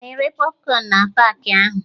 Ana ere pọfkọn na paakị ahụ?